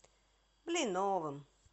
блиновым